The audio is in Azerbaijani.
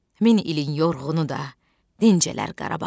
Min ilin yorğunu da dincələr Qarabağda.